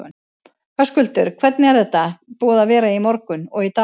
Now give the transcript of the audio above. Höskuldur: Hvernig er þetta búið að vera í morgun og í dag?